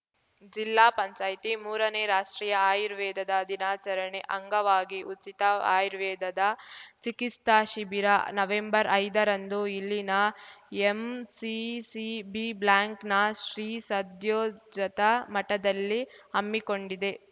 ಜಿಲ್ಲಾ ಪಂಚಾಯ್ತಿ ಮೂರನೇ ರಾಷ್ಟ್ರೀಯ ಆಯುರ್ವೇದದ ದಿನಾಚರಣೆ ಅಂಗವಾಗಿ ಉಚಿತ ಆಯುರ್ವೇದದ ಚಿಕಿತ್ಸಾ ಶಿಬಿರ ನವೆಂಬರ್ಐದರಂದು ಇಲ್ಲಿನ ಎಂಸಿಸಿ ಬಿ ಬ್ಲ್ಯಾನ್ಕ್ ನ ಶ್ರೀ ಸದ್ಯೋಜತ ಮಠದಲ್ಲಿ ಹಮ್ಮಿಕೊಂಡಿದೆ